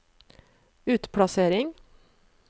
utplassering